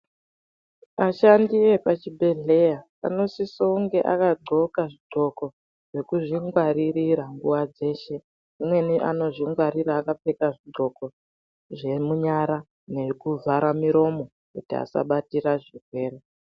Ashandi epachibhedhleya anosisonge akadxoka zvidxoko zvekuzvingwarira nguwa dzeshe Amweni anozvingwarira akapfeka zvidxoko zvemunyara nekuvhara muromo kuti asabatire zvirwere.